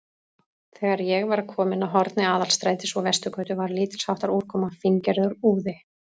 Þegar ég var kominn að horni Aðalstrætis og Vesturgötu, var lítilsháttar úrkoma, fíngerður úði.